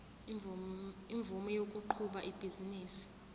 imvume yokuqhuba ibhizinisi